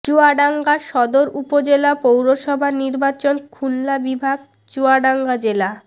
চুয়াডাঙ্গা সদর উপজেলা পৌরসভা নির্বাচন খুলনা বিভাগ চুয়াডাঙ্গা জেলা